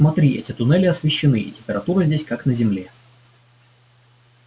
смотри эти туннели освещены и температура здесь как на земле